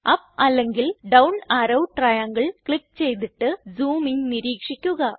up അല്ലെങ്കിൽ down arrow ട്രയാങ്ങിൽ click ചെയ്തിട്ട് സൂമിംഗ് നിരീക്ഷിക്കുക